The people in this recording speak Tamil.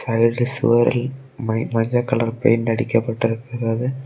அங்கு இருக்கிற சுவரில் மை மஞ்ச கலர் பெயிண்ட் அடிக்கப்பட்டிருக்கிறது.